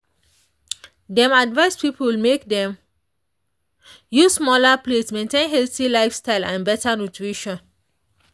dem advise people make dem use smaller plates maintain healthy lifestyle and better nutrition.